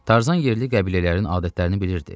Tarzan yerli qəbilələrin adətlərini bilirdi.